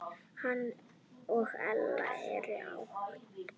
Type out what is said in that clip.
Hann og Ella eru ágæt.